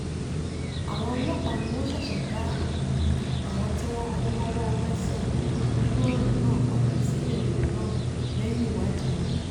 àwọn ọlọ́pàá ni wọ́n ṣẹ̀ṣẹ̀ dá àwọn tí kò mọwọ́ mẹsẹ̀ nínú ọ̀ràn náà padà síléèwé náà lẹ́yìn ìwádìí wọn